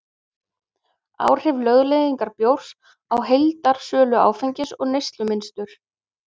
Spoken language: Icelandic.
Áhrif lögleiðingar bjórs á heildarsölu áfengis og neyslumynstur